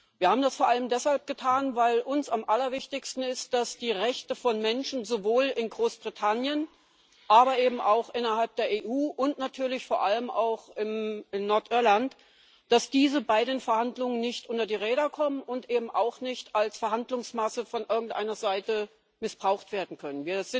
Wir haben das vor allem deshalb getan, weil uns am allerwichtigsten ist, dass die Rechte von Menschen sowohl in Großbritannien, aber eben auch innerhalb der EU und natürlich vor allem auch in Nordirland bei den Verhandlungen nicht unter die Räder kommen und eben auch nicht als Verhandlungsmasse von irgendeiner Seite missbraucht werden können.